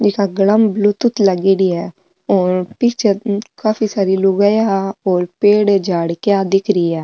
ई का गला में ब्लूटूथ लगेड़ी है और पीछे काफी सारी लुगाइयाँ और पेड़ झाड़किया दिख री है।